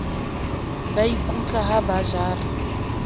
ba ikutla ha ba jara